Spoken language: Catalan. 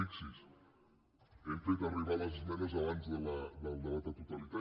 fixi’s hem fet arribar les esmenes abans del debat de totalitat